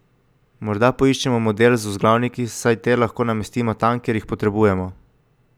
Morda poiščemo model z vzglavniki, saj te lahko namestimo tam, kjer jih potrebujemo.